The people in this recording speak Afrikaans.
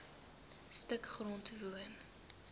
stuk grond woon